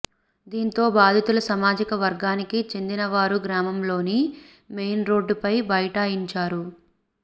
దీంతో బాధితుల సామాజిక వర్గానికి చెందినవారు గ్రామంలోని మెయిన్ రోడ్డుపై బైఠాయించారు